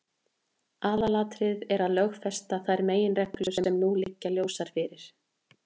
Aðalatriðið er að lögfesta þær meginreglur sem nú liggja ljósar fyrir.